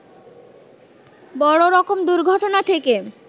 বড় রকম দুর্ঘটনা থেকে